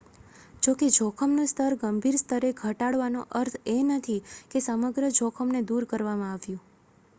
જોકે જોખમનું સ્તર ગંભીર સ્તરે ઘટાડવાનો અર્થ એ નથી કે સમગ્ર જોખમ ને દૂર કરવામાં આવ્યું